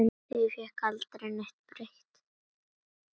Því fékk aldrei neitt breytt.